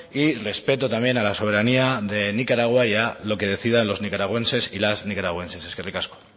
y respeto también a la soberanía de nicaragua y a lo que decidan los nicaragüenses y las nicaragüenses eskerrik asko